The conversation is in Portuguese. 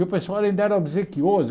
E o pessoal ainda era obsequioso.